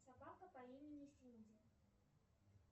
собака по имени синди